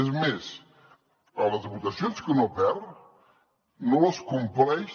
és més a les votacions que no perd no les compleix